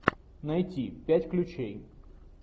найти пять ключей